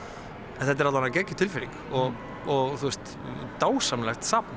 þetta er alla vega geggjuð tilfinning og og dásamlegt safn